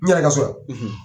N yɛrɛ ka so ya.